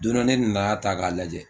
Don dɔ ne nana ta k'a lajɛ